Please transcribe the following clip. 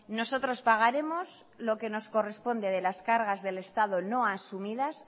nosotros pagaremos lo que nos corresponde de las cargas del estado no asumidas